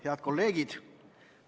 Head kolleegid!